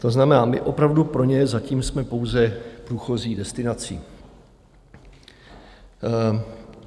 To znamená, my opravdu pro ně zatím jsme pouze průchozí destinací.